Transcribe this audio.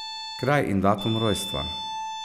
Kraj in datum rojstva ...